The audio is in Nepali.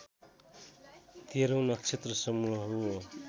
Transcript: तेह्रौँ नक्षत्रसमूह हो